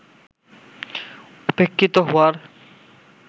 উপেক্ষিত হওয়ার